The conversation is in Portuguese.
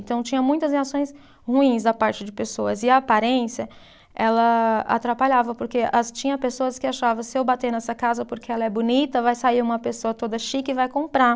Então, tinha muitas reações ruins da parte de pessoas e a aparência, ela atrapalhava, porque tinha pessoas que achavam, se eu bater nessa casa porque ela é bonita, vai sair uma pessoa toda chique e vai comprar.